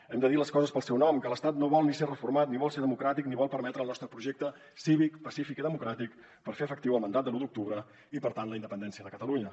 hem de dir les coses pel seu nom que l’estat no vol ni ser reformat ni vol ser democràtic ni vol permetre el nostre projecte cívic pacífic i democràtic per fer efectiu el mandat de l’u d’octubre i per tant la independència de catalunya